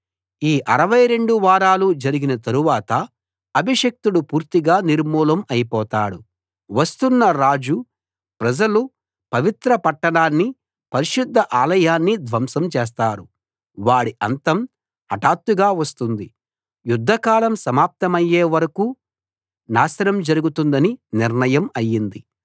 ఈ 62 వారాలు జరిగిన తరువాత అభిషిక్తుడు పూర్తిగా నిర్మూలం అయి పోతాడు వస్తున్న రాజు ప్రజలు పవిత్ర పట్టణాన్ని పరిశుద్ధ ఆలయాన్ని ధ్వంసం చేస్తారు వాడి అంతం హఠాత్తుగా వస్తుంది యుద్ధ కాలం సమాప్తమయ్యే వరకూ నాశనం జరుగుతుందని నిర్ణయం అయింది